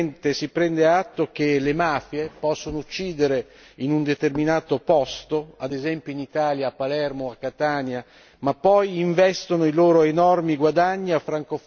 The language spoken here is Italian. E dunque finalmente si prende atto che le mafie possono uccidere in un determinato posto ad esempio, in Italia, a Palermo o a Catania ma poi investono i loro